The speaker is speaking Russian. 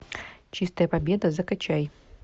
чистая победа закачай